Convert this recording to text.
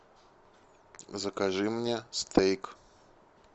закажи мне стейк